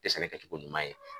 Tɛ sɛnɛkɛcogo ɲuman ye.